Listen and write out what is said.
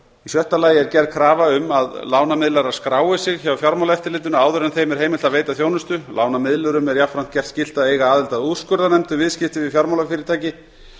sjötta gerð er krafa um að lánamiðlarar skrái sig hjá fjármálaeftirlitinu áður en þeim er heimilt að veita þjónustu lánamiðlurum er jafnframt gert skylt að eiga aðild að úrskurðarnefnd um viðskipti við fjármálafyrirtæki